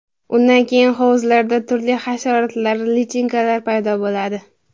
Undan keyin hovuzlarda turli hasharotlar, lichinkalar paydo bo‘ladi.